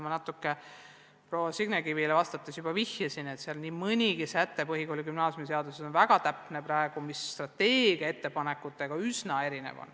Ma natuke proua Signe Kivile vastates juba vihjasin, et põhikooli- ja gümnaasiumiseaduses on nii mõnigi säte praegu väga täpne ja strateegia ettepanekutest üsna erinev.